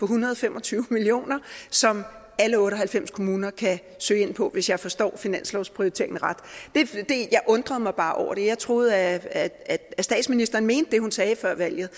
hundrede og fem og tyve million kr som alle otte og halvfems kommuner kan søge ind på hvis jeg forstår finanslovsprioriteringen ret jeg undrer mig bare over det jeg troede at statsministeren mente det hun sagde før valget